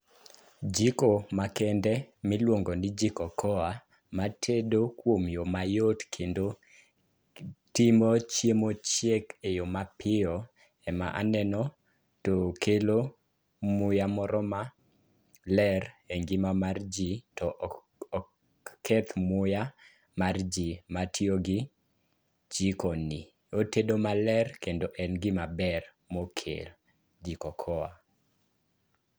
Jiko makende miluongo ni jiko koa matedo kuom yo mayot kendo timo chiemo chiek eyo mapiyo ema aneno. To kelo muya moro maler engima mar ji to ok keth muya mar ji matiyo gi jikoni. Otedo maler kendo en gimaber mokel. Jiko koa.